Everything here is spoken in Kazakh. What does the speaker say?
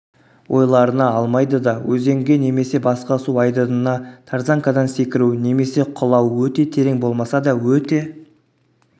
ойларына алмайдыда өзенге немесе басқа су айдынына тарзанкадан секіру немесе құлау өте терең болмаса да өте